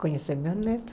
Conhecer meu neto.